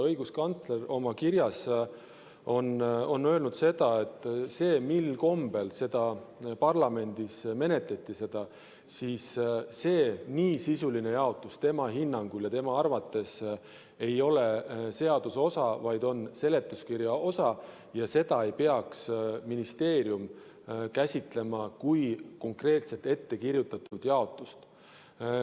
Õiguskantsler oma kirjas on öelnud selle kohta, mil kombel seda parlamendis menetleti, et nii sisuline jaotus tema hinnangul ei ole seaduse osa, vaid on seletuskirja osa ja seda ei peaks ministeerium käsitlema kui konkreetselt ettekirjutatud jaotust.